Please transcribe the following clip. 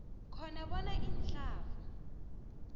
khona bona ihlavu